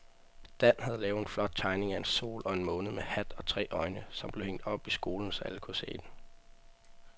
Dan havde lavet en flot tegning af en sol og en måne med hat og tre øjne, som blev hængt op i skolen, så alle kunne se den.